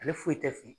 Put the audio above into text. Ale foyi tɛ fin